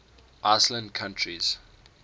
island countries